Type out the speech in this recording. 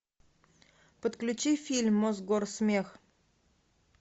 подключи фильм мосгорсмех